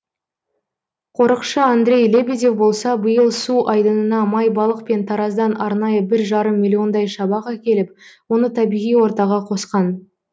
қорықшы андрей лебедев болса биыл су айдынына майбалық пен тараздан арнайы бір жарым миллиондай шабақ әкеліп оны табиғи ортаға қосқан